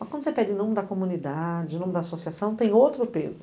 Mas quando você pede em nome da comunidade, em nome da associação, tem outro peso.